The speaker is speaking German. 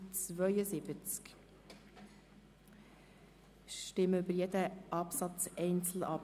Wir stimmen über jeden Absatz einzeln ab.